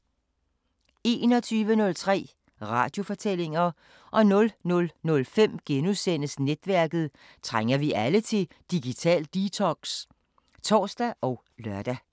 21:03: Radiofortællinger 00:05: Netværket: Trænger vi alle til digital detox? *(tor og lør)